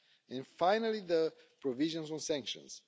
And finally, the provisions on sanctions.